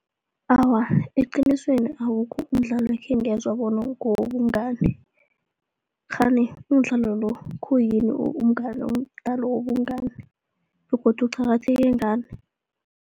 Awa, eqinisweni awukho umdlalo ekhengezwa bona ngewobungani, kghani umdlalo lo, khuyini umdlalo wobungani begodu uqakatheke ngani.